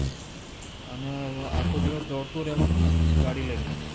અને આખો દિવસ દોડ તું રેવાનું ને ગાડી લય ને